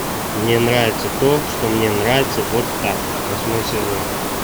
мне нравится то что мне нравится вот так восьмой сезон